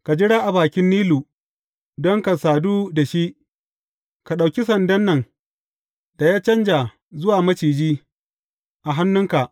Ka jira a bakin Nilu don ka sadu da shi, ka ɗauki sandan nan da ya canja zuwa maciji a hannunka.